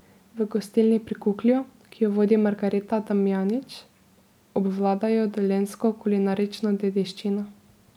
V gostilni Pri Kuklju, ki jo vodi Margareta Damjanić, obvladajo dolenjsko kulinarično dediščino.